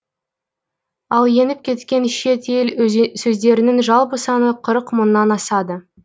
ал еніп кеткен шет ел сөздерінің жалпы саны қырық мыңнан асады